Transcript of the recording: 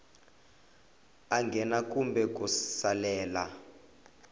a nghena kumbe ku salela